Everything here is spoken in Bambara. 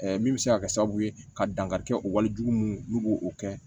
min bɛ se ka kɛ sababu ye ka dankari kɛ o wale jugu mun n'u b'o o kɛ